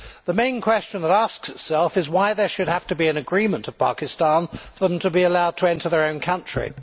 The main question to be asked is why there should have to be an agreement with Pakistan for them to be allowed to enter their own country.